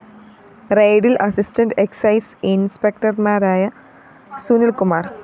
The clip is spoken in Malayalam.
റെയ്ഡില്‍ അസിസ്റ്റന്റ്‌ എക്സൈസ്‌ ഇന്‍സ്‌പെക്ടര്‍മാരായ സുനില്‍കുമാര്‍